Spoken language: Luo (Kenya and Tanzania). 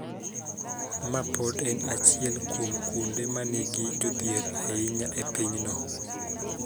Ma pod en achiel kuom kuonde ma nigi jodhier ahinya e pinyno.